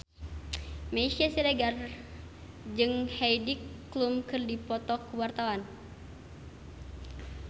Meisya Siregar jeung Heidi Klum keur dipoto ku wartawan